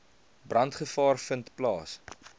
brandgevaar vind plaas